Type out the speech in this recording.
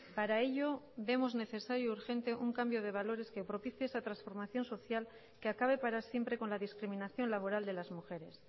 para ello vemos necesario urgente un cambio de valores que propicie esa transformación social que acabe para siempre con la discriminación laboral de las mujeres